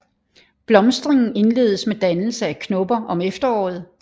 Blomstringen indledes med dannelse af knopper om efteråret